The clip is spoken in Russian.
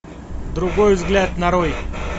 другой взгляд нарой